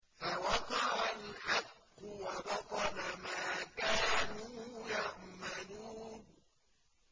فَوَقَعَ الْحَقُّ وَبَطَلَ مَا كَانُوا يَعْمَلُونَ